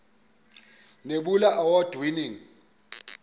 nebula award winning